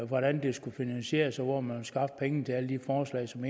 hvordan det skal finansieres hvor man vil skaffe pengene til alle de forslag som